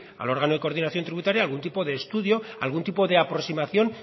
al órgano de coordinación tributaria algún tipo de estudio algún tipo de aproximación